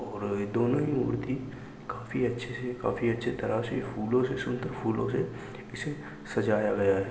और दोनों ही मूर्ति काफी अच्छे से काफी अच्छी तरह से फूलों से शुद्ध फूलों से इसे सजाया गया है।